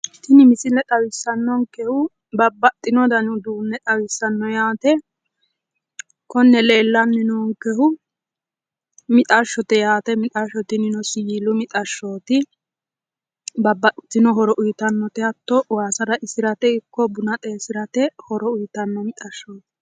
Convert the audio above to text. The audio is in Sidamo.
tini misile xawissannonkehu babbaxino dani uduunne xawissanno yate konne leellanni noonkehu mixashshote yaate mixashsho tinino siwiilu mixashshooti babbaxitino horo uyiitannote hatto waasa raisirate ikko buna xeesirate horo uyiitanno mixashshooti.